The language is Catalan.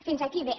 fins aquí bé